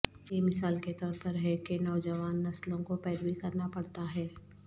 یہ مثال کے طور پر ہے کہ نوجوان نسلوں کو پیروی کرنا پڑتا ہے